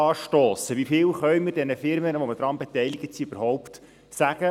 Wie viel können wir den Firmen, an welchen wir beteiligt sind, überhaupt sagen?